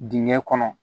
Dingɛ kɔnɔ